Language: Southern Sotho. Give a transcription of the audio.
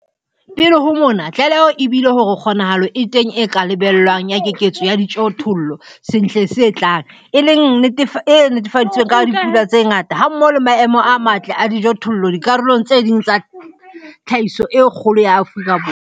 Pele ho mona, tlaleho e bile hore kgonahalo e teng e ka lebellwang ya keketseho ya dijothollo sehleng se tlang, e leng se nnetefaditsweng ke dipula tse ngata hammoho le maemo a matle a dijothollo dikarolong tse ding tsa tsa tlhahiso e kgolo ya Afrika Borwa.